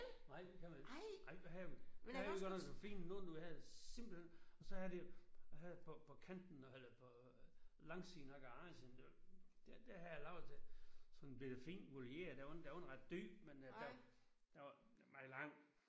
Nej det kan man ikke. Nej der havde der havde vi godt nok noget fint noget nu havde simpelthen og så havde det og havde det på på kanten eller på langsiden af garagen der der havde jeg lavet et bette fint voliere. Den var ikke ret dyb men den var meget lang